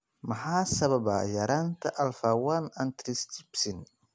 Maxaa sababa yaraanta alfa 1 antitrypsin?